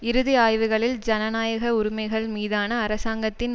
இறுதி ஆய்வுகளில் ஜனநாயக உரிமைகள் மீதான அரசாங்கத்தின்